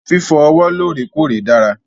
Fífọ ọwọ́ lọ́rèkọ́ọ̀rè dára.